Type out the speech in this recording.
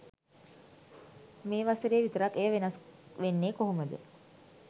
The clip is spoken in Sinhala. මේ වසරේ විතරක් එය වෙනස් වෙන්නේ කොහොමද?